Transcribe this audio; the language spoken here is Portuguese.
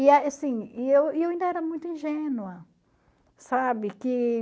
E eu e eu ainda era muito ingênua, sabe?